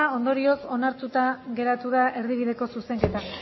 ondorioz onartuta geratu da erdibideko zuzenketa